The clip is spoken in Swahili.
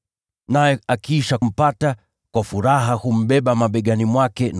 Naye akishampata, humbeba mabegani mwake kwa furaha